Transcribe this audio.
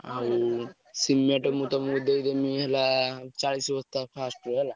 ଆଉ cement ମୁଁ ତମକୁ ଦେଇଦେମି ହେଲା ଚାଳିଶ ବସ୍ତା first ରୁ ହେଲା।